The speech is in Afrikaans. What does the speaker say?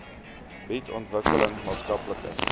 bied ontwikkeling maatskaplike